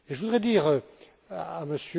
Je voudrais dire